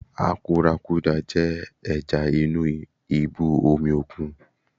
Àkúrákudà jẹ́ ẹja inú ibú omi òkun.